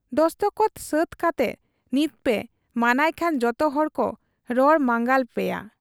ᱫᱚᱥᱠᱚᱛ ᱥᱟᱹᱛ ᱠᱟᱛᱮ ᱱᱤᱛᱯᱮ ᱢᱟᱱᱟᱭ ᱠᱷᱟᱱ ᱡᱚᱛᱚᱦᱚᱲᱠᱚ ᱨᱚᱲ ᱢᱟᱸᱜᱟᱞ ᱯᱮᱭᱟ ᱾